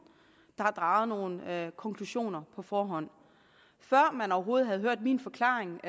der har draget nogle konklusioner på forhånd før man overhovedet havde hørt min forklaring